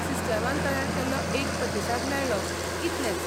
सिस्टमान तयार केल्लो एक प्रतिसाद मेळ्ळो, इतलेंच.